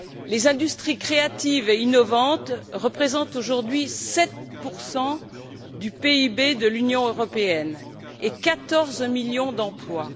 Les industries créatives et innovantes représentent aujourd'hui 7 du PIB de l'Union européenne et 14 millions d'emplois.